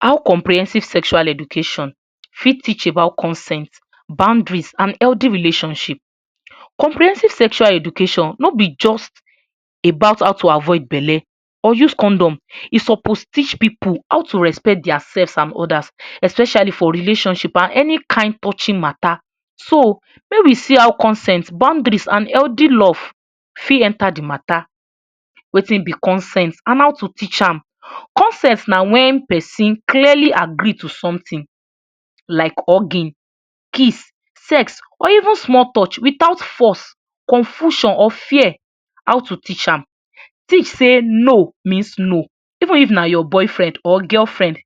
How comprehensive sexual education fit teach about consent, boundaries, un healthy relationship. comprehensive sexual education no be just about how to avoid belle or use condom e suppose teach pipu how to respect their self and others especially for relationship and any kind touching matter so make we see how consent, boundaries and healthy love fit enter de matter wetin be consent and how to teach am. consent na when person clearly agree to something like hugging, kiss, sex or even small torch with out force, confusion or fear how to teach am. teach say no means no even if na your boyfriend or girlfriend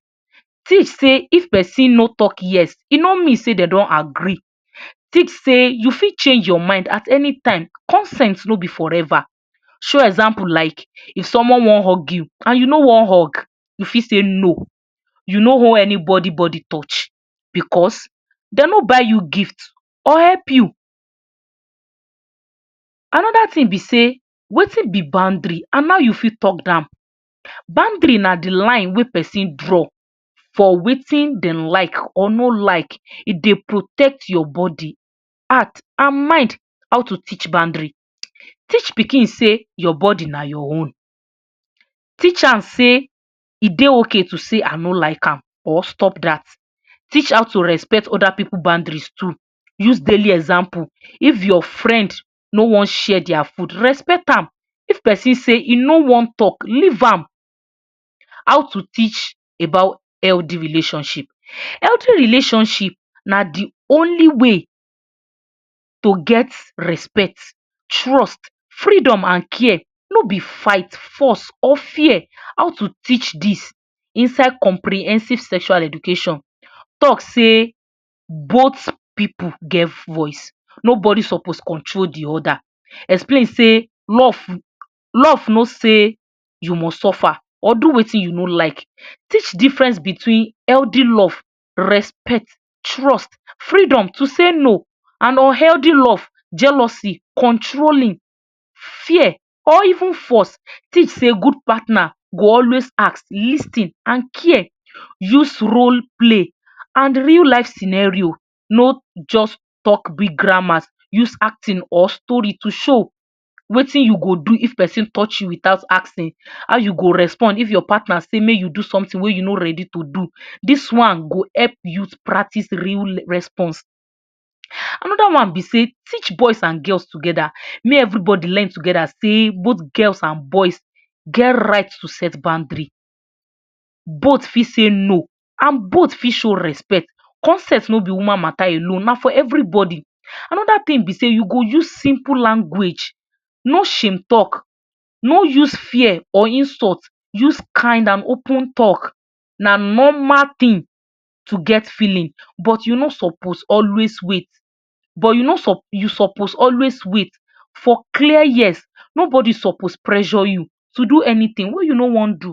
teach say if person no talk yes e no mean say dem don agree teach say you fit change your mind at any time consent no be for ever show example like if someone wan hug you and you no wan hug you fit say no you you no want anybody torch because dem no buy you gift or help you. another thing be say wetin be boundry and how you fit talk am boundary na de line wey person draw for watin dem like or no like e dey protect your body, heart and mind. how to teach boundary teach pikin say e dey okay to talk say I no like am or stop that teach how to respect other pipu boundry too use daily example like if your friend no wan share their food respect am if person talk say e no want talk leave am. how to teach about healthy relationship, healthy relationship na de only way to get respect, trust, freedom and care no be fight, force or fear. how to teach dis inside comprehensive sexual education talk say both pipu get voice nobody suppose control the other explain say love, love no say you must suffer or do wetin you no like teach difference between healthy love, respect, trust, freedom to say no and un healthy love, jealousy, controlling, fear or even force teach say good partner go always ask, lis ten and care use rule play and real life scenario no just talk big grammar use acting or story to show wetin you go do when person torch you without asking, how you go respond when your partner say make you do something wey you no ready to do dis one go help you practice real response. another one be say teach boys and girls together make everybody learn together say both boys and girls get right to set boundaries both fit say no and both fit show respect consent no be woman matter alone na for everybody another thing be say you go use simple language no shame talk no use fear or insult, use kind and open talk na normal thing to get feeling but you no suppose always wait but you suppose always wait for clear years nobody suppose pressure you to do anything wey you no want do.